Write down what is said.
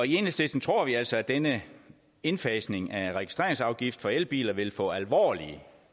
enhedslisten tror vi altså at denne indfasning af registreringsafgift for elbiler vil få alvorlige